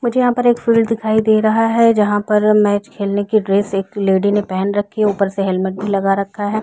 मुझे यहां पर एक फील्ड दिखाई दे रहा है जहां पर मैच खेलने की ड्रेस एक लेडी ने पहन रखी है ऊपर से हेलमेट भी लगा रखा है।